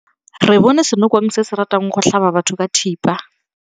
Re bone senokwane se se ratang go tlhaba batho ka thipa.